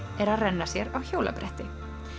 er að renna sér á hjólabretti